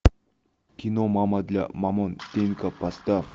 кино мама для мамонтенка поставь